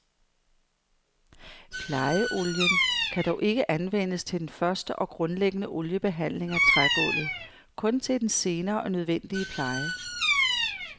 Plejeolien kan dog ikke anvendes til den første og grundlæggende oliebehandling af trægulvet, kun til den senere og nødvendige pleje.